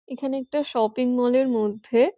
এখানে একটা shopping mall -এর মধ্যে --